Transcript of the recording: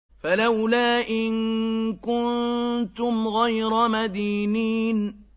فَلَوْلَا إِن كُنتُمْ غَيْرَ مَدِينِينَ